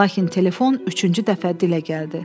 Lakin telefon üçüncü dəfə dilə gəldi.